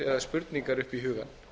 spurningar upp í hugann